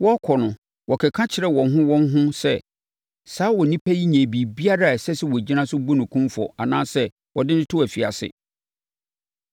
Wɔrekɔ no, wɔkeka kyerɛɛ wɔn ho wɔn ho sɛ, “Saa onipa yi nyɛɛ biribiara a ɛsɛ sɛ wɔgyina so bu no kumfɔ anaasɛ wɔde no to afiase.”